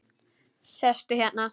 Sestu hérna.